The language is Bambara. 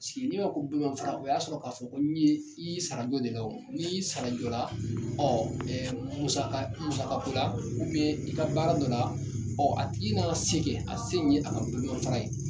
N'i i y'a mɛ ko bolomafara i y'i sara dɔ de la n'i y'i sara jɔ la musakako la i ka baara dɔ la a tigi n'a se kɛ a se in ye a ka bolomafara ye.